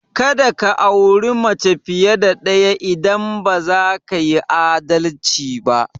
Ka da ka auri mace fiye da ɗaya idan ba za ka yi adalci ba!